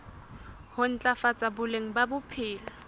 ho ntlafatsa boleng ba bophelo